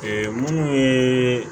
minnu ye